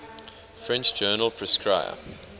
french journal prescrire